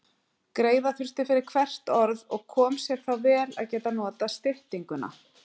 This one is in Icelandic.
Greiða þurfti fyrir hvert orð og kom sér þá vel að geta notað styttinguna.